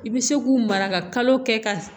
I bɛ se k'u mara ka kalo kɛ ka